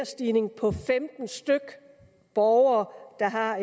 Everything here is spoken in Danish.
stigning på femten borgere der har